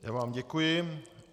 Já vám děkuji.